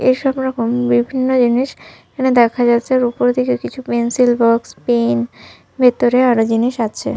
এসবরকম বিভিন্ন জিনিস এখানে দেখা যাচ্ছে আর উপর দিকে কিছু পেন্সিল বক্স পেন ভেতরে আরো জিনিস আছে।